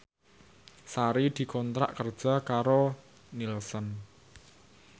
Sari dikontrak kerja karo Nielsen